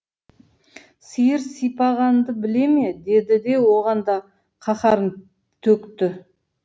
сиыр сипағанды біле ме деді де оған да қаһарын төкті